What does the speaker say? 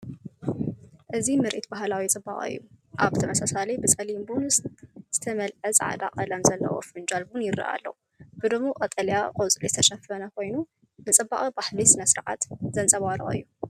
እዚ ምርኢት ባህላዊ ጽባቐ እዩ። ኣብ ተመሳሳሊ ብጸሊም ቡን ዝተመልአ ጻዕዳ ቀለም ዘለዎ ፍንጃል ቡን ይረአ ኣሎ። ብድሙቕ ቀጠልያ ቆጽሊ ዝተሸፈነ ኮይኑ፡ ንጽባቐ ባህላዊ ስነ-ስርዓት ዘንጸባርቕ እዩ።